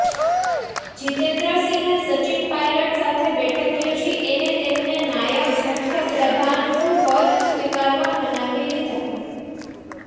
જિતેન્દ્ર સિંહે સચિન પાયલટ સાથે બેઠક યોજી એને તેમને નાયબ મુખ્યપ્રધાનનું પદ સ્વીકારવા મનાવી લીધા